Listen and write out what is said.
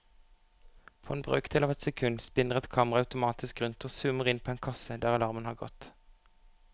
På en brøkdel av et sekund spinner et kamera automatisk rundt og zoomer inn på en kasse der alarmen har gått.